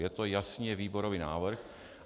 Je to jasně výborový návrh.